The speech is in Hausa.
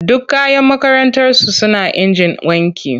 Duk kayan makarantarsu suna injin wanki.